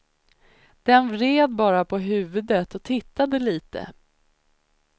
Den vred bara på huvudet och tittade lite.